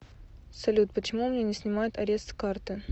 салют почему у меня не снимают арест с карты